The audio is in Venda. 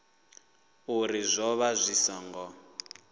uri zwo vha zwi songo